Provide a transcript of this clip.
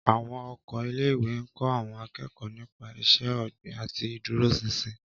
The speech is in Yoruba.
Àwọn oko ilé-ìwé ń kọ́ àwọn akẹ́kọ̀ọ́ nípa iṣẹ́ ọ̀gbìn àti ìdúróṣinṣin.